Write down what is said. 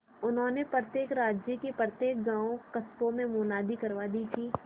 उन्होंने प्रत्येक राज्य के प्रत्येक गांवकस्बों में मुनादी करवा दी कि